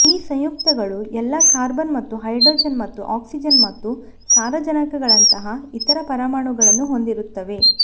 ಈ ಸಂಯುಕ್ತಗಳು ಎಲ್ಲಾ ಕಾರ್ಬನ್ ಮತ್ತು ಹೈಡ್ರೋಜನ್ ಮತ್ತು ಆಕ್ಸಿಜನ್ ಮತ್ತು ಸಾರಜನಕಗಳಂತಹ ಇತರ ಪರಮಾಣುಗಳನ್ನು ಹೊಂದಿರುತ್ತವೆ